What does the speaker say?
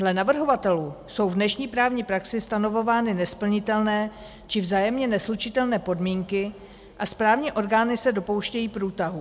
Dle navrhovatelů jsou v dnešní právní praxi stanovovány nesplnitelné či vzájemně neslučitelné podmínky a správní orgány se dopouštějí průtahů.